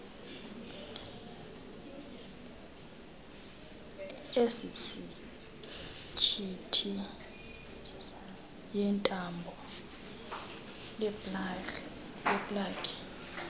esisinyithi yentambo yeplagi